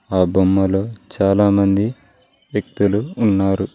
ఆ బొమ్మలు చాలా మంది వ్యక్తులు ఉన్నారు.